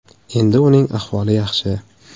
Endi uning ahvoli yaxshi.